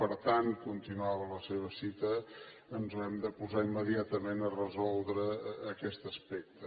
per tant continuava la seva cita ens haurem de posar immediatament a resoldre aquest aspecte